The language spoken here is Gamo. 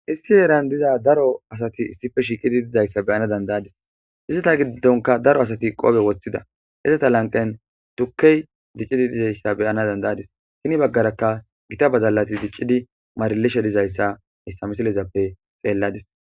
Issi eran diza daro asati issife shiiqidi dizayssa beyana dandayadis izzata giddonka daro asati qoobe woththida hezata lanqen tukkey diccidi dizayssa beyana dandayadis kini baggarakka gita badalati diccidi maarilishe dizayssa hissamesi xeelladis.